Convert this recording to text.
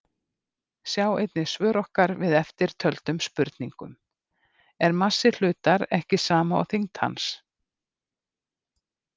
Sjá einnig svör okkar við eftirtöldum spurningum: Er massi hlutar ekki sama og þyngd hans?